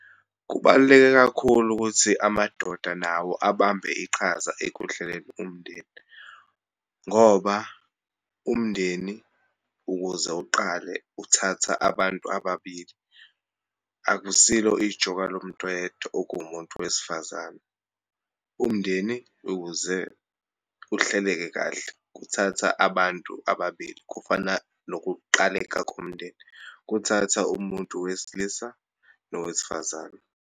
Kubaluleke kakhulu ukuthi amadoda nawo abambe iqhaza ekuhleleni umndeni, ngoba umndeni ukuze uqale uthatha abantu ababili. Akusilo ijoka lomuntu oyedwa, okuwumuntu wesifazane. Umndeni, ukuze uhleleke kahle, kuthatha abantu ababili. Kufana nokuqaleka komndeni, kuthatha umuntu wesilisa nowesifazane.